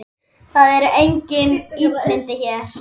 Það eru engin illindi hér.